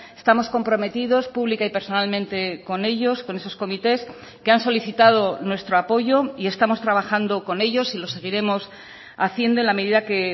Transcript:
estamos comprometidos pública y personalmente con ellos con esos comités que han solicitado nuestro apoyo y estamos trabajando con ellos y lo seguiremos haciendo en la medida que